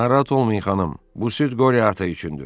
Narahat olmayın, xanım, bu süd qori ata üçündür.